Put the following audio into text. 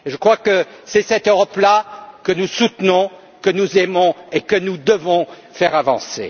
Je crois que c'est cette Europe là que nous soutenons, que nous aimons et que nous devons faire avancer.